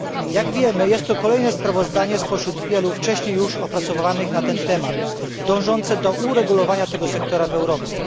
Jak wiemy jest to kolejne sprawozdanie spośród wielu wcześniej już opracowywanych na ten temat dążących do uregulowania tego sektora w Europie.